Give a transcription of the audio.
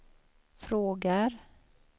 frågar